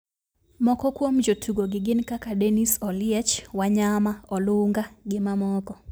Moko kuom jotugo gi gin kaka Dennis oliech, Wanyama, Olunga gi mamoko